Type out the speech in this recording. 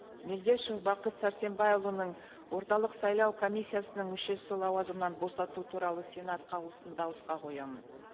мелдешев бақыт сәрсенбайұлының орталық сайлау комиссиясының мүшесі лауазымнан босату туралы сенат қаулысын дауысқа қоямын